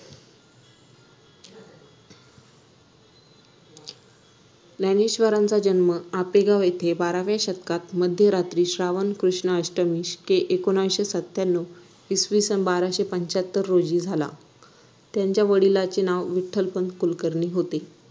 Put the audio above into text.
ज्ञानेश्वरांचा जन्म आपेगाव येथे बाराव्या शतकात मध्यरात्री श्रावण कृष्ण अष्टमी शके आकराशे सत्यांणव इसविसन बाराशे पंच्याहत्तर रोजी झाला त्यांच्या वडिलांचे नाव विठ्ठलपंत कुलकर्णी होते